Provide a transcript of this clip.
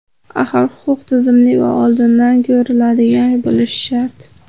Axir huquq tizimli va oldindan ko‘riladigan bo‘lishi shart.